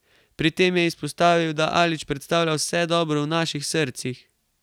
Pri tem je izpostavil, da Alić predstavlja vse dobro v naših srcih.